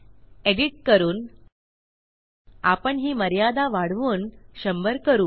edit करून आपण ही मर्यादा वाढवून 100 करू